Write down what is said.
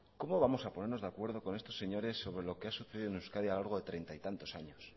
cómo vamos a ponernos de acuerdo con estos señores sobre lo que ha sucedido en euskadi a lo largo de treinta y tantos años